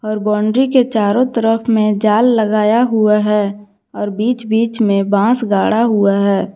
और बाउंड्री के चारों तरफ में जाल लगाया हुआ है और बीच बीच में बांस गाड़ा हुआ है।